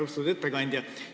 Austatud ettekandja!